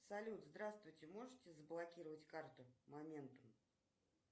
салют здравствуйте можете заблокировать карту моментом